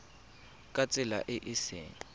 ka tsela e e seng